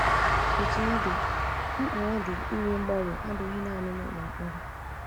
Otú ọ dị, mkpa ọ dị ịnwe mgbanwe abụghị nanị nụlọ mkpọrọ.